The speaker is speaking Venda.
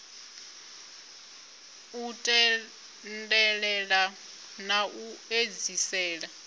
u tendelela na u edzisela